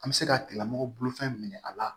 An bɛ se ka tigilamɔgɔ bolofɛn minɛ a la